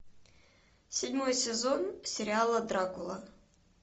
седьмой сезон сериала дракула